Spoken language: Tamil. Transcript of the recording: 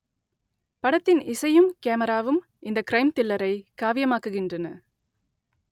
படத்தின் இசையும் கேமராவும் இந்த க்ரைம் தில்லரை காவியமாக்குகின்றன